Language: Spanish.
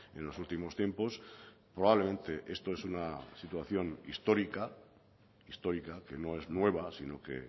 en los últimos tiempos probablemente esto es una situación histórica histórica que no es nueva sino que